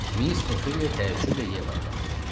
Miss Ofeliya təəccüblə Yevaya baxdı.